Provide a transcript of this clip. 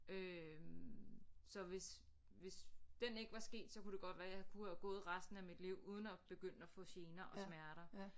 Øh så hvis hvis den ikke var sket så kunne det godt være jeg kunne have gået resten af mit liv uden at begynde at få gener og smerter